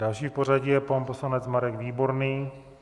Další v pořadí je pan poslanec Marek Výborný.